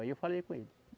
Aí eu falei com ele.